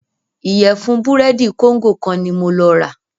Ìyẹ̀fun búrẹ́dì kóńgò kan ní mo lọ rà.